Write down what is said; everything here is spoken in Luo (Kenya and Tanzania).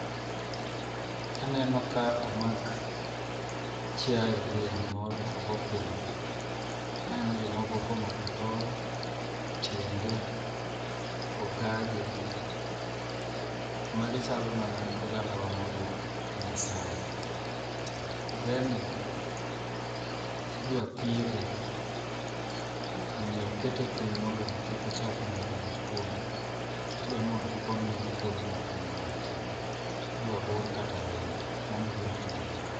Aneno ka omak chiayo dhiang' moro ogo piny, aneno jomoko komako tol, tiende ogaje, magi chalo mana ogandawa mawuok e maasai. Dheni idwa thiedhe omiyo okete piny mondo omi kik ochapni yath odonj kuome kata idwa ni mondo oponne okuodo moko momake, idwa bur kata rembe, mano e gima timore ka.